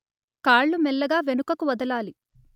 కాళ్ళు మెల్లగా వెనుకకు వదలాలి